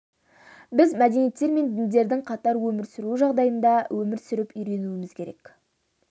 біз мәдениеттер мен діндердің қатар өмір сүруі жағдайында өмір сүріп үйренуіміз керек